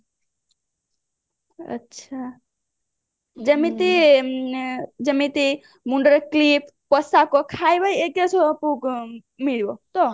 ଆଚ୍ଛା ଯେମିତି ଯେମିତି ମୁଣ୍ଡରେ clip ପୋଷାକ ଖାଇବା ମିଳିବ